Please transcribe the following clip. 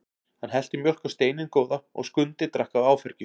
Hann hellti mjólk á steininn góða og Skundi drakk af áfergju.